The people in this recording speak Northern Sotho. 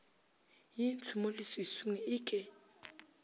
ye ntsho mo leswiswing eke